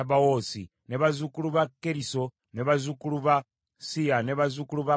bazzukulu ba Keriso, bazzukulu ba Siya, bazzukulu ba Padoni,